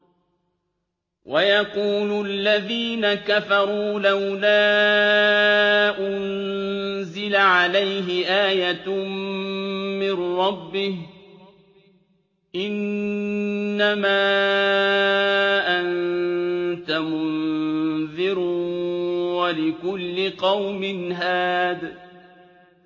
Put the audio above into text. وَيَقُولُ الَّذِينَ كَفَرُوا لَوْلَا أُنزِلَ عَلَيْهِ آيَةٌ مِّن رَّبِّهِ ۗ إِنَّمَا أَنتَ مُنذِرٌ ۖ وَلِكُلِّ قَوْمٍ هَادٍ